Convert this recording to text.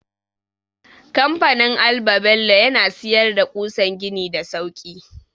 Kamfanin alba-bello yana siyar da ƙusan gini da sauki.